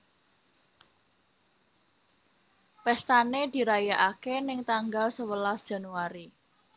Pestane dirayakake neng tanggal sewelas Januari